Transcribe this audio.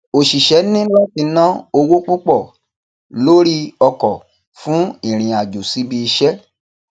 òṣìṣẹ ní láti ná owó púpò lórí ọkọ fún ìrìn àjò síbi iṣẹ